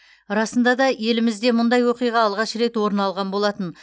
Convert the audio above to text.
расында да елімізде мұндай оқиға алғаш рет орын алған болатын